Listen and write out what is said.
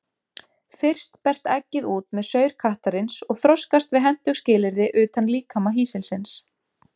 Fyrst berst eggið út með saur kattarins og þroskast við hentug skilyrði utan líkama hýsilsins.